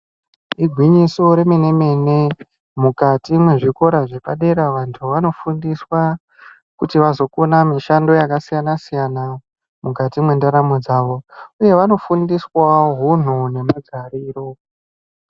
Igwinyiso re mene mene mukati mwe zvikora zve padera vantu vano fundiswa kuti vazokona mushando yaka siyana siyana mukati mwe ndaramo dzavo uye vano fundiswawo hunhu ne magariro.